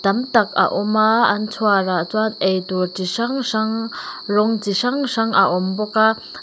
tam tak a awm a an chhuar ah chuan eitur chi hrang hrang rawng chi hrang hrang a awm bawk a.